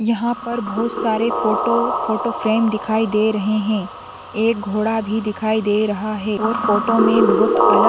यहाँ पर बहुत सारे फोटो फोटो फ्रेम दिखाई दे रहे हैं एक घोड़ा भी दिखाई दे रहा हैं और फोटो में बहुत अलग --